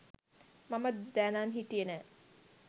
මම දැනන් හිටියේ නෑ.